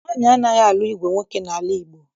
Nwaanyị anaghị alụ ìgwè nwoke n'ala Igbo